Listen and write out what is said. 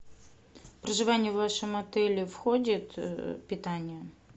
в проживание в вашем отеле входит питание